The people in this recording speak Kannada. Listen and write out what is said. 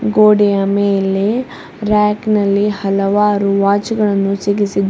ಗೋಡೆಯ ಮೇಲೆ ಹಲವಾರು ರ್ಯಾಕ್ ನಲ್ಲಿ--